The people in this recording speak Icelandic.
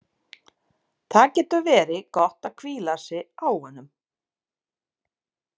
Það getur verið gott að hvíla sig á honum.